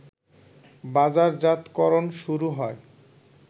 বাজারজাতকরণ শুরু হয়